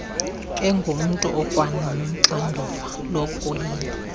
engumntu okwanoxanduva lokuyila